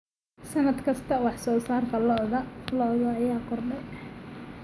Sannad kasta, wax soo saarka lo'da lo'da ayaa kordhay.